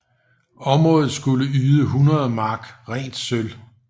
Området skulle yde 100 mark rent sølv